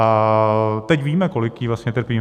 A teď víme, kolik jí vlastně trpí.